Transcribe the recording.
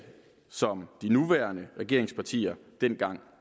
som de nuværende regeringspartier dengang